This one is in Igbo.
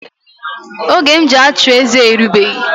Oge m ji achụeze erigbeghi